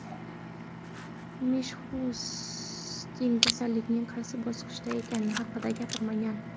Mishustin kasallikning qaysi bosqichda ekani haqida gapirmagan.